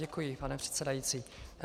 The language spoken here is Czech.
Děkuji, pane předsedající.